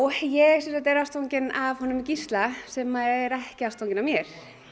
ég sem sagt er ástfangin af honum Gísla sem er ekki ástfanginn af mér